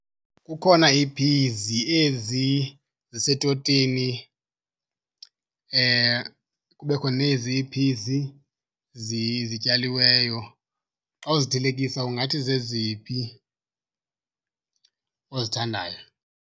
Kukhona iiphizi ezi zisetotini, kubekho nezi iiphizi zityaliweyo. Xa uzithelekisa ungathi zeziphi ozithandayo?